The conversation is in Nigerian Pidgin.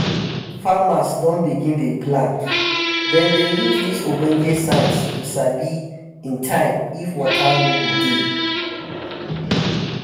farmers don begin dey plant dem dey use dis ogbonge science to sabi in time if um water no um go dey